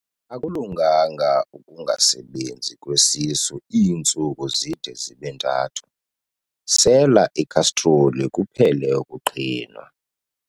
Akulunganga ukungasebenzi kwesisu iintsuku zide zibe ntathu, sela ikhastroli kuphele ukuqhinwa.